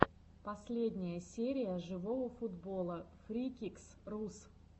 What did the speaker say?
последняя серия живого футбола фрикикс рус